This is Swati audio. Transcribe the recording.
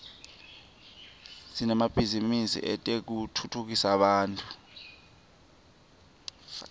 sinemabhizinisi etekutfutsa bantfu